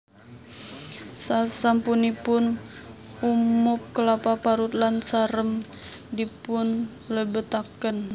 Sasampunipun umub klapa parut lan sarem dipun lebetaken